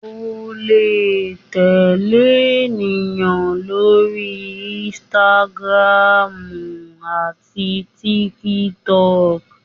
o le tẹle eniyan lori Instagram ati TikTok.